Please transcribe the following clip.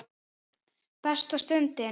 Besta stundin?